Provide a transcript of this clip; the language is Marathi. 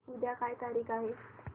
उद्या काय तारीख आहे